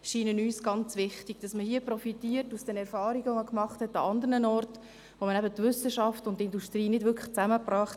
Man profitiert von den andernorts gemachten Erfahrungen, wo man die Wissenschaft und die Industrie eben nicht zusammenbrachte.